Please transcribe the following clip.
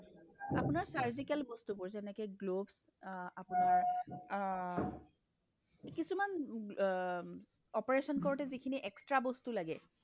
আপোনাৰ surgical বস্তুবোৰ যেনেকৈ gloves অহ্ আপোনাৰ অ অ কিছুমান উম অ অ কিছুমান operation কৰোতে যিখিনি extra বস্তু লাগে